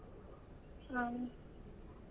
ಹ್ಮ್.